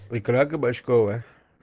икра кабачковая